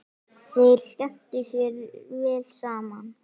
Þeir skemmtu sér vel saman.